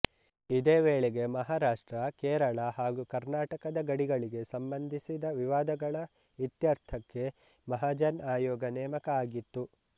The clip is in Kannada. ಇದೇ ವೇಳೆಗೆ ಮಹಾರಾಷ್ಟ್ರ ಕೇರಳ ಹಾಗೂ ಕರ್ನಾಟಕದ ಗಡಿಗಳಿಗೆ ಸಂಬಂಧಿಸಿದ ವಿವಾದಗಳ ಇತ್ಯರ್ಥಕ್ಕೆ ಮಹಾಜನ್ ಆಯೋಗ ನೇಮಕ ಆಗಿತ್ತು